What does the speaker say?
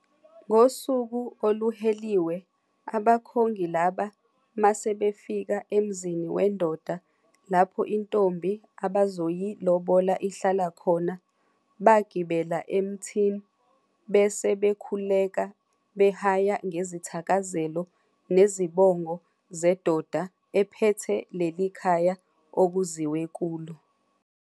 Ngosuku oluhheliwe, abakhongi laba masebefika emzini wendoda lapho intombi abazoyilobola ihlala khona, bagibela emthini bese bekhuleka behaya ngezithakazelo nezibongo zedoda ephethe lelikhaya okuziwe kulo.